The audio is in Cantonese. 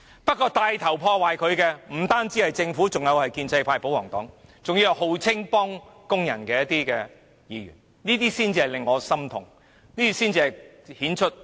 不過，牽頭破壞這些原則的不只是政府，還有建制派和保皇黨，還有聲稱幫助工人的議員，這些人才令我感到心痛，這些人的行為才顯出他們的不義。